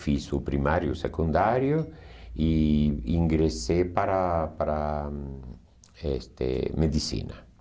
Fiz o primário e o secundário e ingressei para para este medicina.